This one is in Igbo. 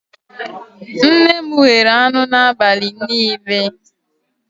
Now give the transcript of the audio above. Nne m ghere anụ n'abalị niile